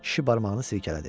Kişi barmağını silkələdi.